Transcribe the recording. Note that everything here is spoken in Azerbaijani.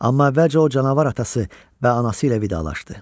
Amma əvvəlcə o canavar atası və anası ilə vidalaşdı.